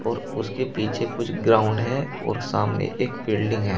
और उसके पीछे कुछ ग्राउंड है और सामने एक बिल्डिंग है।